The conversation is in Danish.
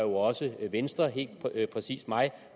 også venstre helt præcis mig